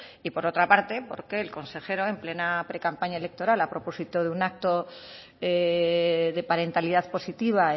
y por otra parte porque el consejero en plena precampaña electoral a propósito de un acto de parentalidad positiva